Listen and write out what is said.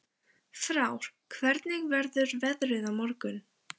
Frár, hvernig verður veðrið á morgun?